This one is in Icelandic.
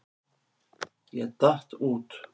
Ég datt út.